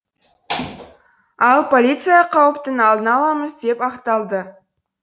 ал полиция қауіптің алдын аламыз деп ақталды